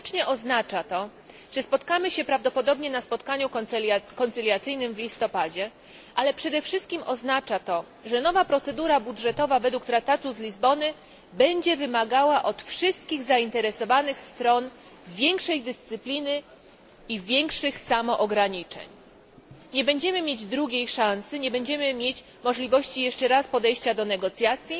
Oznacza to, że spotkamy się prawdopodobnie na spotkaniu pojednawczym w listopadzie, ale przede wszystkim, że nowa procedura budżetowa według traktatu z Lizbony będzie wymagała od wszystkich zainteresowanych stron większej dyscypliny i większych samoograniczeń. Nie będziemy mieć drugiej szansy, nie będziemy mieć możliwości podejścia jeszcze raz do negocjacji.